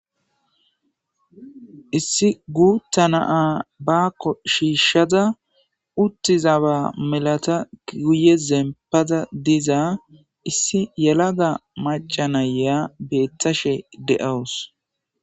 Issi guutta naa baakko shiishshada uttizaba melata kiguye zempada dizaa issi yelaga maca nayaa beettashe de7awus.